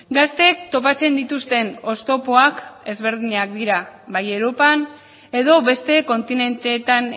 gazteek topatzen dituzten oztopoak ezberdinak dira bai europan edo beste kontinenteetan